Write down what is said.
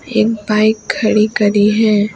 एक बाइक खड़ी करी है।